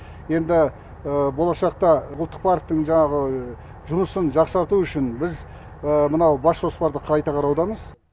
енді болашақта ұлттық парктің жұмысын жақсарту үшін біз мынау бас жоспарды қайта қараудамыз